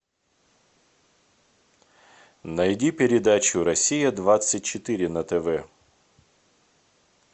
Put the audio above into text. найди передачу россия двадцать четыре на тв